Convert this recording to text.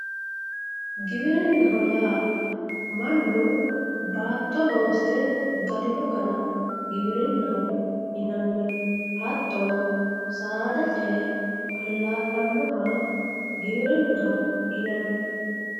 Giwirinnaho yaa mannu baatto loosire galino gara giwirinnaho yinanni hattono saada ce"e allaa'linoha giwirinnaho yinanni